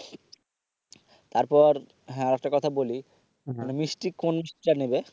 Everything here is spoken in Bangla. তারপর হ্যা আর একটা কথা বলি মানে মিষ্টি কোন টা নিবে?